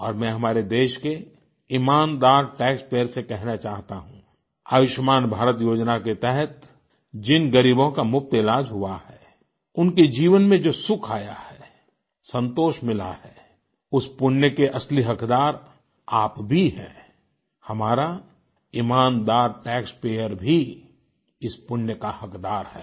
और मैं हमारे देश के ईमानदार टैक्स पेयर से कहना चाहता हूँ आयुष्मान भारत योजना के तहत जिन गरीबों का मुफ्त इलाज हुआ है उनके जीवन में जो सुख आया है संतोष मिला है उस पुण्य के असली हकदार आप भी हैं हमारा ईमानदार टैक्स पेयर भी इस पुण्य का हकदार है